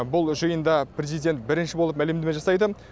бұл жиында президент бірінші болып мәлімдеме жасайды